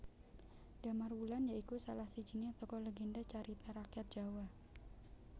Damarwulan ya iku salah sijiné tokoh legénda carita rakyat Jawa